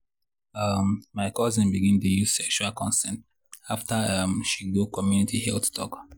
um my cousin begin dey use sexual consent after um she go community health talk.